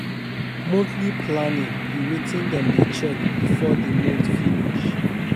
Monthly planning be wetin dem dey check before di month finish